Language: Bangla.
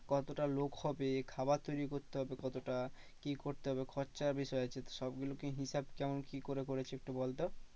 কতটা লোক হবে খাবার তৈরি করতে হবে কতটা? কি করতে হবে খরচার বিষয় আছে সব গুলোকে হিসাব কেমন কি করে করেছে একটু বলতো।